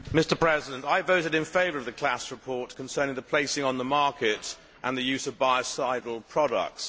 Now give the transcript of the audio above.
Mr President, I voted in favour of the Klaß report concerning the placing on the market and the use of biocidal products.